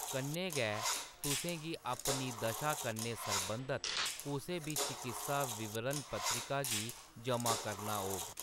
कन्नै गै, तुसें गी अपनी दशा कन्नै सरबंधत कुसै बी चकित्सा विवरण-पत्रिका गी जमा करना होग।